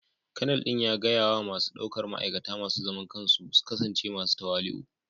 Kanal din ya gaya wa masu daukar ma'aikata masu zaman kansu su kasance masu tawali'u